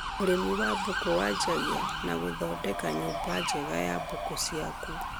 Ũrĩmi wa mbũkũ wanjagia na gũthondeka nyũmba njega ya mbũku ciaku